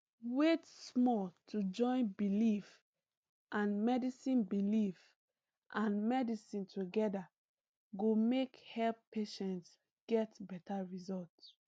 wait small to join belief and medicine belief and medicine together go make help patients get better result